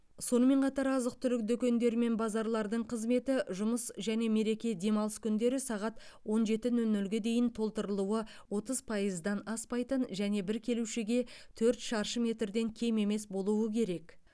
сонымен қатар азық түлік дүкендері мен базарлардың қызметі жұмыс және мереке демалыс күндері сағат он жеті нөл нөлге дейін толтырылуы отыз пайыздан аспайтын және бір келушіге төрт шаршы метрден кем емес болуы керек